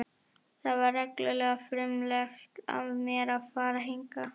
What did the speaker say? Það var reglulega frumlegt af mér að fara hingað.